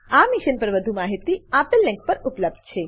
આ મિશન પર વધુ માહિતી આપેલ લીંક પર ઉપલબ્ધ છે